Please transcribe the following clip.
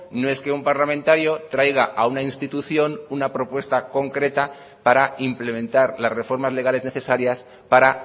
no es que un parlamentario traiga a una institución una propuesta concreta para implementar las reformas legales necesarias para